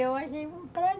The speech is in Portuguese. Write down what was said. Eu achei um prazer.